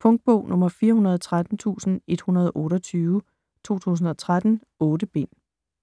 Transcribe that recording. Punktbog 413128 2013. 8 bind.